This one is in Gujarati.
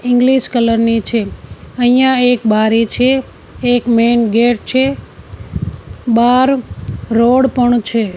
ઈંગ્લીશ કલર ની છે અહિંયા એક બારે છે એક મેઈન ગેટ છે બાર રોડ પણ છે.